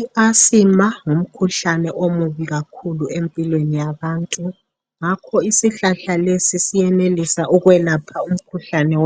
I Asima ngumkhuhlane omubi kakhulu empilweni yabantu. Ngakho lesisihlahla siyenelisa ukwelapha lumkhuhlane.